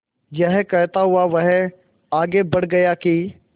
यह कहता हुआ वह आगे बढ़ गया कि